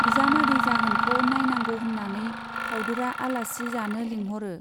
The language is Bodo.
बिजामादै जागोनखौ नाइनांगौ होन्नानै फाउदुरा आलासि जानो लिंहरो।